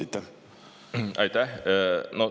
Aitäh!